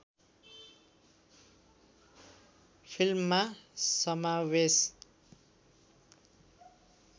फिल्ममा समावेश